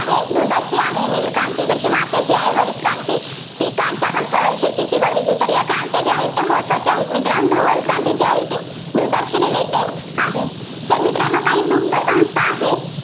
दुधाशी आहे. नील क्रांती कशी माशाशी आहे, हरित क्रांती पिकांशी आप शेतीशी वगैरे आहे. तर या क्रांत्या ज्या आहेत, त्या महत्त्वाच्या आहेत. मित्रांनो धवल क्रांती जी आहे, ती दुधाशी related आहे. तर मित्रांनो काही दुग्ध संस्था आहेत,